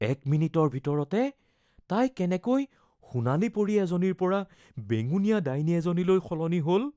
এক মিনিটৰ ভিতৰতে তাই কেনেকৈ সোণালী পৰী এজনীৰ পৰা বেঙুনীয়া ডাইনী এজনীলৈ সলনি হ’ল?